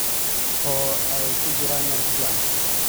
oo ay ku jiraan meel ku filan.